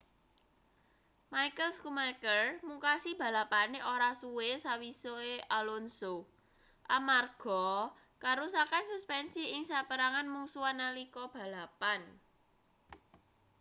michael schumacher mungkasi balapane ora suwe sawise alonso amarga karusakan suspensi ing saperangan mungsuhan nalika balapan